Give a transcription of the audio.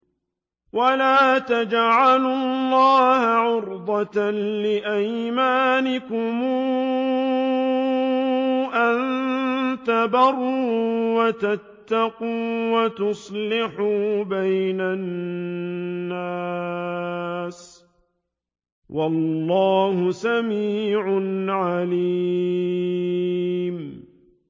وَلَا تَجْعَلُوا اللَّهَ عُرْضَةً لِّأَيْمَانِكُمْ أَن تَبَرُّوا وَتَتَّقُوا وَتُصْلِحُوا بَيْنَ النَّاسِ ۗ وَاللَّهُ سَمِيعٌ عَلِيمٌ